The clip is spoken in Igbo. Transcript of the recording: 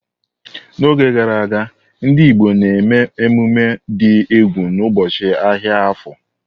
N'oge gara aga, ndị Igbo na-eme emume dị egwu n'ụbọchị ahịa Afo.